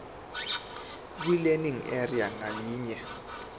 kwilearning area ngayinye